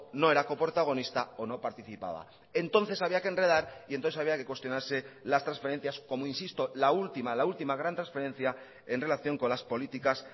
no era coprotagonista o no participaba entonces había que enredar y entonces había que cuestionarse las transferencias como insisto la última la última gran transferencia en relación con las políticas